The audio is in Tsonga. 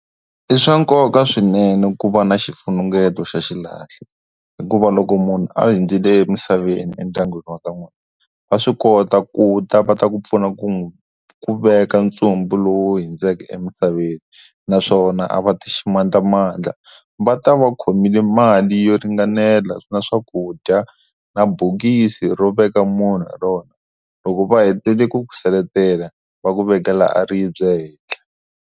I swa nkoka swinene ku va na xifunengeto xa xilahlo hikuva loko munhu a hundzile emisaveni endyangwini was ka n'wina va swi kota ku ta va ta ku pfuna ku n'wi ku veka ndzumbu lowu hundzeke emisaveni naswona a va ti ximandlamandla va ta va khomile mali yo ringanela na swakudya na bokisi ro veka munhu hi rona loko va hetile ku ku seletela va ku vekela a ribye e henhla.